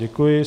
Děkuji.